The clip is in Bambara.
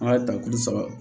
An ka tali saba